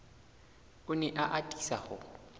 o ne a atisa ho